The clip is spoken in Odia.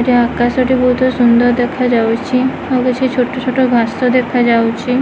ଏଟା ଆକାଶଟି ବହୁତ ସୁନ୍ଦର ଦେଖାଯାଉଛି ଆଉ କିଛି ଛୋଟ ଛୋଟ ଘାସ ଦେଖାଯାଉଛି।